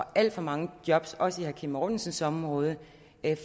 alt for mange job også i herre kim mortensens område